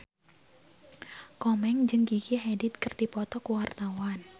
Komeng jeung Gigi Hadid keur dipoto ku wartawan